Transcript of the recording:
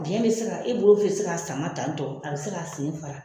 Biɲɛ bɛ se ka e bolo bɛ se k'a sama tan tɔ a bɛ se k'a sen fara